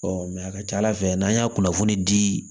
a ka ca ala fɛ n'an y'a kunnafoni dii